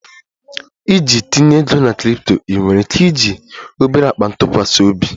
Iji tinye ego na crypto, ị nwere ike iji obere akpa ntụkwasị obi?